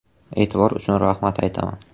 E’tibor uchun rahmat aytaman.